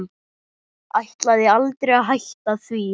Ætlaði aldrei að hætta því.